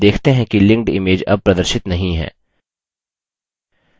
आप देखते हैं कि linked image अब प्रदर्शित नहीं है